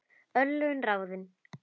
Örlög ráðin